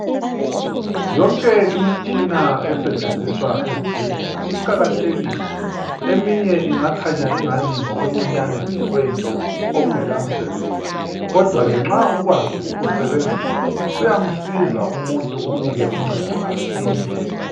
Yonke imitshina esentshenziswa ezibhedlela iqakathekile eminye ingakhanya engani ngokuncinyane nje kwento okungela msebenzi kodwa ke nxa ukwazi ukukusebenzisa kuyasiza umuntu kumnike uncendo asile